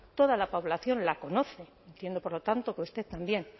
toda la población la conoce entiendo por lo tanto que usted también